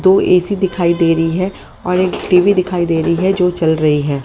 दो ए_सी दिखाई दे रही है और एक टी_वी दिखाई दे रही है जो चल रही है।